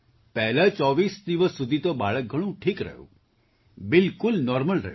પહેલા ૨૪ દિવસ સુધી તો બાળક ઘણું ઠીક રહ્યું બિલકુલ નૉર્મલ રહ્યું